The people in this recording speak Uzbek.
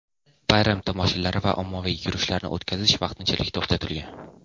bayram tomoshalari va ommaviy yurishlarni o‘tkazish vaqtinchalik to‘xtatilgan.